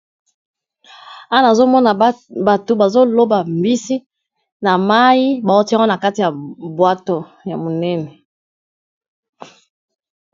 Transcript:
Awa nazomona bato bazoloba mbisi na mai baotiango na kati ya bwato ya monene